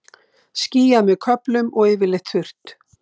Skýjað með köflum og yfirleitt þurrt